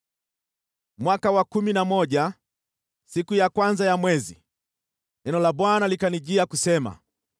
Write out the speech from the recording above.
Mwaka wa kumi na moja, siku ya kwanza ya mwezi, neno la Bwana likanijia kusema: